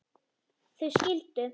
Þau skildu.